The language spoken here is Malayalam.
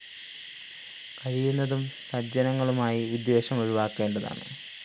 കഴിയുന്നതും സജ്ജനങ്ങളുമായി വിദ്വേഷം ഒഴിവാക്കേണ്ടതാണ്